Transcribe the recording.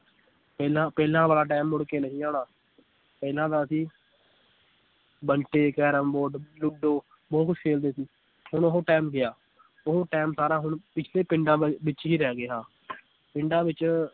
ਪਹਿਲਾਂ ਪਹਿਲਾਂ ਵਾਲਾ time ਮੁੜ ਕੇ ਨਹੀਂ ਆਉਣਾ ਪਹਿਲਾਂ ਤਾਂ ਅਸੀ ਬੰਟੇ, ਕੈਰਮ ਬੋਰਡ, ਲੁਡੋ ਬਹੁਤ ਕੁਛ ਖੇਲਦੇ ਸੀ ਹੁਣ ਉਹ time ਗਿਆ ਉਹ time ਸਾਰਾ ਹੁਣ ਪਿੱਛੜੇ ਪਿੰਡਾਂ ਵੱਲ, ਵਿਚ ਹੀ ਰਹਿ ਗਿਆ ਪਿੰਡਾਂ ਵਿਚ